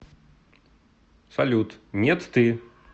салют нет ты